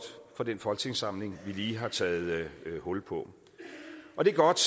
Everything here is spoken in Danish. for den folketingssamling vi lige har taget hul på og det er godt